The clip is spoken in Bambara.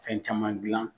Fɛn caman gilan